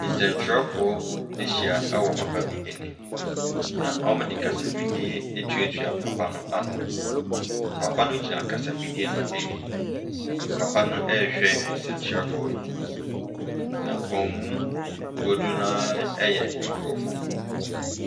Nsɛntwerɛfoɔ bi ahyia wɔ papa bi anim, na wɔde kasafidie atuatua papa no ano, papa no gyina kasafidie no anim. Papa no ɛrehwɛ nsɛntwerɛfoɔ yi. Na wɔn mu dodoɔ no ara yɛ aborɔfo.